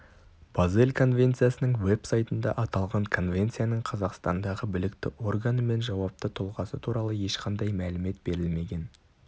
базель конвенциясының веб сайтында аталған конвенцияның қазақстандағы білікті органы мен жауапты тұлғасы туралы ешқандай мәлімет берілмеген